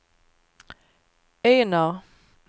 Enar